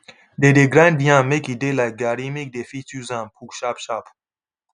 they dey grind yam make e de like garri make dey fit use am cook sharp sharp